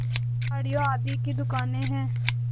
साड़ियों आदि की दुकानें हैं